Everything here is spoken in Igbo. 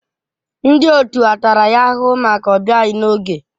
Ndị otu a tara ya ahụhụ maka ọbịaghi n'oge?